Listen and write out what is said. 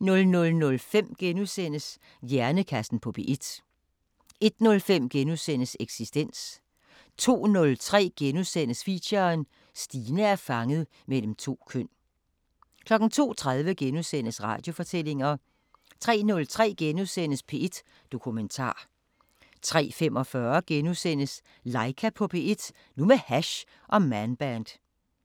00:05: Hjernekassen på P1 * 01:05: Eksistens * 02:03: Feature: Stine er fanget mellem to køn * 02:30: Radiofortællinger * 03:03: P1 Dokumentar * 03:45: Laika på P1 – nu med hash og Man Band